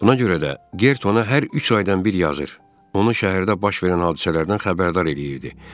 Buna görə də, Gert ona hər üç aydan bir yazır, onu şəhərdə baş verən hadisələrdən xəbərdar eləyirdi.